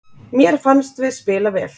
Mér fannst við spila vel.